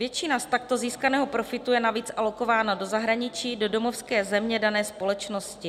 Většina z takto získaného profitu je navíc alokována do zahraničí, do domovské země dané společnosti.